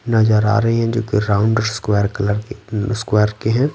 नजर आ रही हैं जोकि राउंड स्क्वायर कलर क स्क्वायर के हैं।